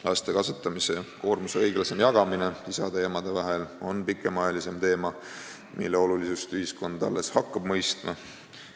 Laste kasvatamise koormuse õiglasem jagamine isade ja emade vahel on pikemaajalisem teema, mille olulisust ühiskond alles hakkab mõistma.